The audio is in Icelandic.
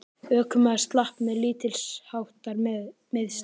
Ökumaður slapp með lítilsháttar meiðsl